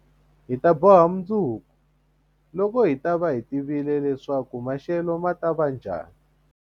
Hi ta boha mundzuku, loko hi ta va hi tivile leswaku maxelo ma ta va njhani.